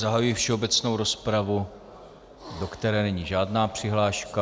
Zahajuji všeobecnou rozpravu, do které není žádná přihláška.